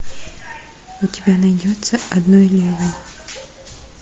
у тебя найдется одной левой